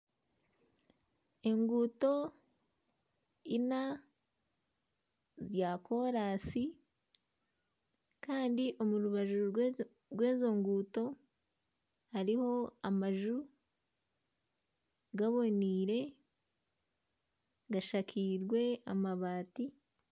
Enguuto ina za kolansi, Kandi omu rubaju rw'ezo nguuto za kolansi hariyo amaju gaboneire gashakiirwe amabaati